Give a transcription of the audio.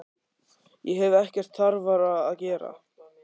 Ég hef ekkert þarfara að gera.